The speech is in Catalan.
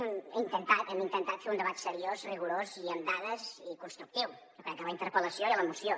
ho he intentat hem intentat fer un debat seriós rigorós i amb dades i constructiu jo crec que a la interpel·lació i a la moció